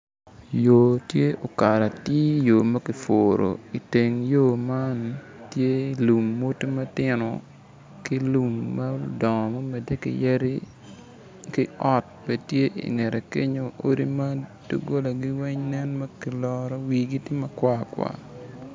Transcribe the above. Yo tye okato atir yo ma kipuro iteng yo man tye lum modo matino ki lum ma odongo ma omedde ki yadi ki ot bene tye ingette kenyo odi ma dogolagi nen ma kiloro wigi tye makwar kwar